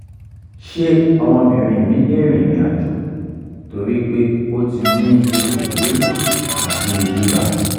ṣé ọmọbìnrin mi lè rìnrìn àjò torí pé o ti ni ikun riru ati iba?